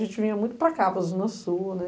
A gente vinha muito para cá, para Zona Sul, né?